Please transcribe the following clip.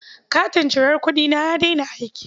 Katin cirar kuɗina ya daina aiki.